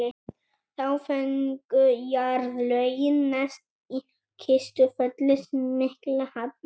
þá fengu jarðlögin neðst í kistufelli sinn mikla halla